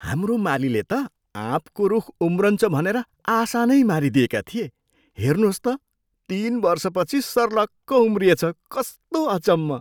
हाम्रो मालीले त आँपको रूख उम्रन्छ भनेर आशा नै मारिदिएका थिए। हेर्नुहोस् त, तिन वर्षपछि सर्लक्क उम्रिएछ। कस्तो अचम्म!